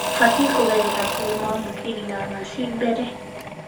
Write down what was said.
Ũbatiĩ kũgerera kũrĩ mwamũkĩri na naci mbere